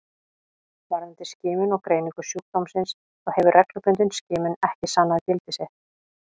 Varðandi skimun og greiningu sjúkdómsins þá hefur reglubundin skimun ekki sannað gildi sitt.